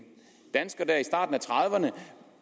dansker i starten af trediverne